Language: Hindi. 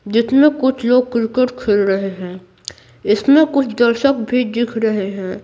जिसमें कुछ लोग क्रिकेट खेल रहे हैं इसमें कुछ दर्शक भी दिख रहे हैं।